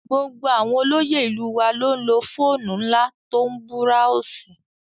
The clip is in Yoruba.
Gbogbo àwọn olóyè ìlú wa ló ń lo fóònù ńlá tó ń búráósì